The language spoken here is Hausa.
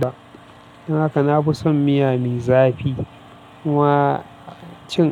ba. Don haka na fi son miya mai zafi. Kuma cin.